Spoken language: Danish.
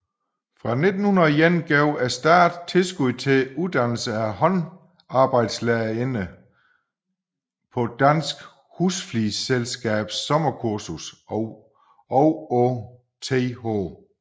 Fra 1901 gav staten tilskud til uddannelse af håndarbejdslærerinder på Dansk Husflidsselskabs Sommerkursus og på Th